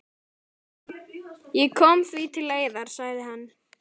Ég kom því til leiðar, sagði hann.